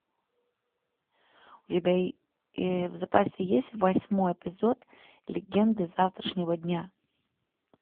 у тебя в запасе есть восьмой эпизод легенды завтрашнего дня